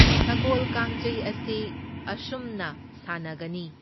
ꯁꯒꯣꯜ ꯀꯥꯡꯖꯩ ꯑꯁꯤ ꯑꯁꯨꯝꯅ ꯁꯥꯟꯅꯒꯅꯤ꯫